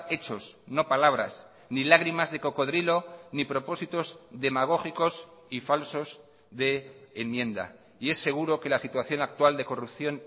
hechos no palabras ni lágrimas de cocodrilo ni propósitos demagógicos y falsos de enmienda y es seguro que la situación actual de corrupción